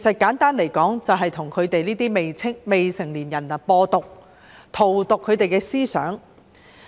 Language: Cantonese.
簡單來說，就是向這些未成年人"播毒"，荼毒他們的思想。